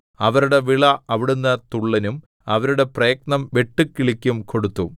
അവരുടെ വിള അവിടുന്ന് തുള്ളനും അവരുടെ പ്രയത്നം വെട്ടുക്കിളിക്കും കൊടുത്തു